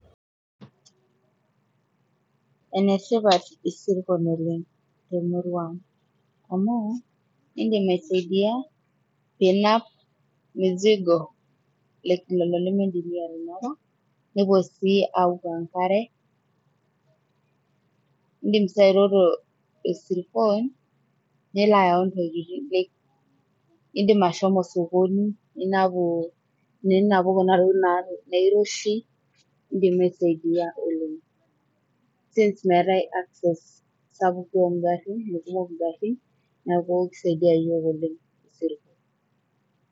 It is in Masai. netipat isirkon oleng temurua ang amu indim aisaidia pinap mizigo lelo limindim iyie atanapa nepuo sii aoku enkare indim sii airoto isirkon nilo ayau intokitin indim ashomo sokoni ninapu, ninapu kuna tokitin nairoshi indim aisaidia oleng since meetae access sapuk duo ongarrin mekumok ingarrin neku kisaidia yiok oleng isirkon.